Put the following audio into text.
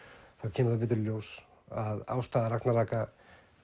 kemur það betur í ljós að ástæða ragnaraka